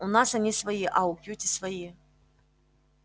у нас они свои а у кьюти свои